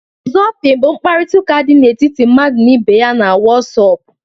Wọsapịn bụ nkparịta ụka di etiti mmadụ na ibe ya na Wọsapụ.